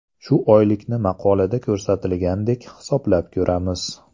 Shu oylikni maqolada ko‘rsatilgandek hisoblab ko‘ramiz.